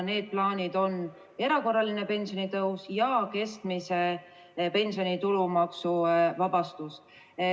Need plaanid on erakorraline pensionitõus ja keskmise pensioni tulumaksuvabastus.